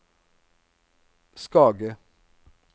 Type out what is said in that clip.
Skage